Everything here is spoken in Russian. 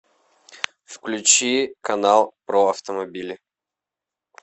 включи канал про автомобили